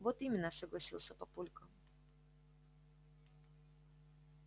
вот именно согласился папулька